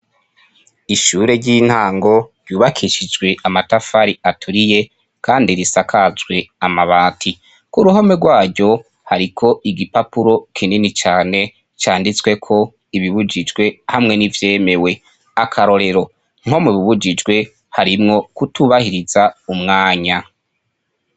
Ishure ry'intango ryububakishijwe amatafari aturiye kandi risakajwe amabati, k'uruhome rwaryo hariko igipapuro kinini cane canditsweko ibibujijwe hamwe n'ivyemewe, akarorero :nko mubibujijwe harimwo kutubahiriza umwanya.